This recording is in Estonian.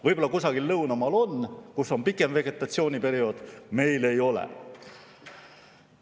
Võib-olla kusagil lõunamaal on, kus on pikem vegetatsiooniperiood, aga meil ei ole.